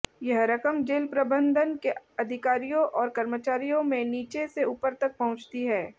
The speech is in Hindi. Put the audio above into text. यह रकम जेल प्रबंधन के अधिकारियों और कर्मचारियों में नीचे से ऊपर तक पहुंचती है